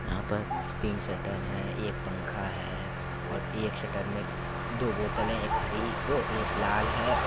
यहाँ पर तीन शटर है एक पंखा है और एक शटर में दो बोतलें है एक हरी वो एक लाल है।